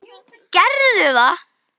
Gerðu það.